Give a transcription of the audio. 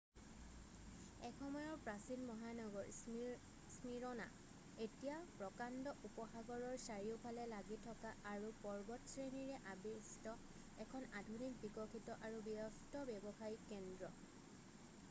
এসময়ৰ প্ৰাচীন মহানগৰ স্মীৰনা এতিয়া প্ৰকাণ্ড উপসাগৰৰৰ চাৰিওফালে লাগি থকা আৰু পৰ্বতশ্ৰেণীৰে আবৃষ্ট এখন আধুনিক বিকশিত আৰু ব্যস্ত ব্যৱসায়িক কেন্দ্ৰ